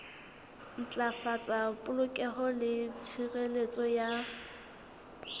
ntlafatsa polokeho le tshireletso ya